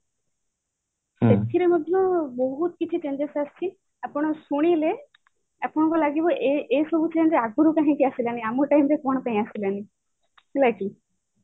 ସେଥିରେ ମଧ୍ୟ ବହୁତ କିଛି changes ଆସିଛି ଆପଣ ଶୁଣିଲେ ଆପଣଙ୍କୁ ଲାଗିବ ଏଇ ସବୁ change ଆଗରୁ କାହିଁକି ଆସିଲାଣି ଆମ time ରେ କଣ ପାଇଁ ଆସିଲାନି ହେଲା କି